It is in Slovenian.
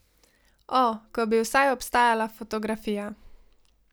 O, ko bi vsaj obstajala fotografija.